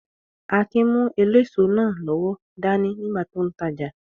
Akin mú eléso náà lọ́wọ́ dání nígbà tó n tajà